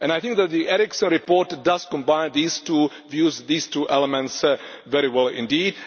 I think that the Eriksson report combines these two views, these two elements very well indeed.